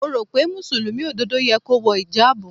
Mo rò pé Mùsùlùmí òdodo yẹ kó wọ ìjábù.